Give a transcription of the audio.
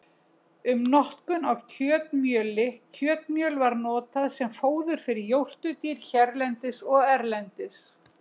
Um notkun á kjötmjöli Kjötmjöl var notað sem fóður fyrir jórturdýr hérlendis og erlendis.